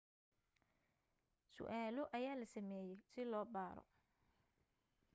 su'aalo ayaa la sameeyey si loo baaro